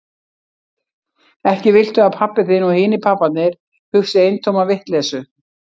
Ekki viltu að pabbi þinn og hinir pabbarnir hugsi eintóma vitleysu?